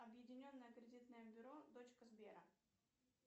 объединенное кредитное бюро дочка сбера